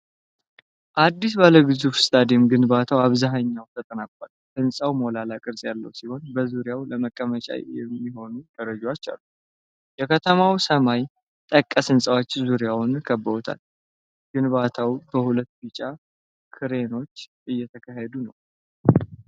አዲስ ባለ ግዙፍ ስታዲየም ግንባታው አብዛኛው ተጠናቋል። ሕንጻው ሞላላ ቅርጽ ያለው ሲሆን በዙሪያው ለመቀመጫ የሚሆኑ ደረጃዎች አሉ። የከተማው ሰማይ ጠቀስ ሕንፃዎች ዙሪያውን ከብበውታል። ግንባታው በሁለት ቢጫ ክሬኖች እየተካሄደ ነው።